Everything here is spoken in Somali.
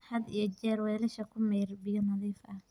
Had iyo jeer weelasha ku maydh biyo nadiif ah.